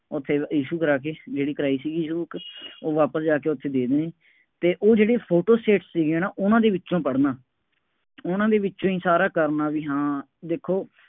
ਉਹ ਫੇਰ issue ਕਰਾ ਕੇ ਜਿਹੜੀ ਕਰਾਈ ਸੀਗੀ, issue book ਉਹ ਵਾਪਸ ਜਾ ਕੇ ਉੱਥੇ ਦੇ ਦੇਣੀ ਅਤੇ ਉਹ ਜਿਹੜੇ ਫੋਟੋ ਸਟੇਟਸ ਸੀਗੀਆ ਨਾ, ਉਹਨਾ ਦੇ ਵਿੱਚੋਂ ਪੜ੍ਹਨਾ, ਉਹਨਾ ਦੇ ਵਿੱਚੋਂ ਹੀ ਸਾਰਾ ਕਰਨਾ ਬਈ ਹਾਂ ਦੇਖੋ